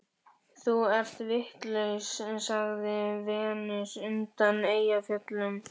Þú ert vitlaus, sagði Venus undan Eyjafjöllum.